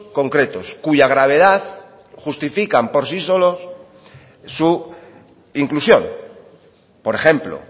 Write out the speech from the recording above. concretos cuya gravedad justifican por sí solos su inclusión por ejemplo